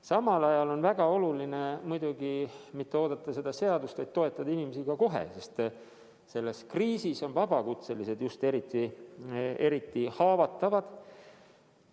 Samal ajal on väga oluline mitte jääda ootama seda seadust, vaid toetada inimesi kohe, sest selles kriisis on just vabakutselised eriti haavatavad.